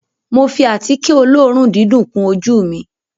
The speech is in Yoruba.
Mo fi àtíkè olóòórùn dídùn kun ojú ù mi